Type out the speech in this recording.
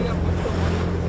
qabağa dönürük.